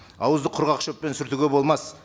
ауызды құрғақ шөппен сүртуге болмас